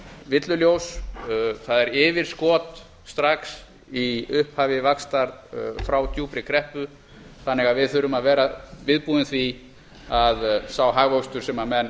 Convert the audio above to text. villuljós það er yfirskot strax í upphafi vaxtar frá djúpri kreppu þannig að við þurfum að vera viðbúin því að sá hagvöxtur sem menn